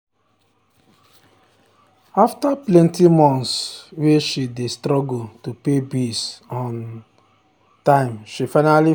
after plenty months way she dey struggle to pay bills on um time she finally find help.